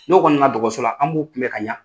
N'o kɔni na na dɔgɔso la an b'o kun bɛ ka ɲɛ.